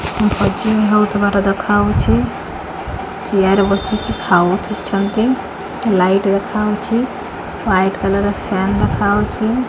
ଭଜିଙ୍ଗ୍ ହେଉଥିବାର ଦେଖା ହେଉଚି ଚିୟାର ବସିକି ଖାଉଛନ୍ତି ଲାଇଟ୍ ଦେଖା ହେଉଚି ହ୍ୱାଇଟ୍ କଲର୍ ର ସାଲ୍ ହେଖା ହେଉଛି।